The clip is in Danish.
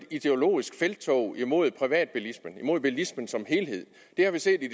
ideologisk felttog imod privatbilismen imod bilismen som helhed det har vi set i